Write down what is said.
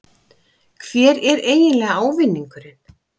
Hver er eiginlega ávinningurinn?